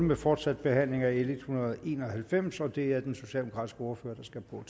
med fortsat behandling af l en hundrede og en og halvfems og det er den socialdemokratiske ordfører der skal på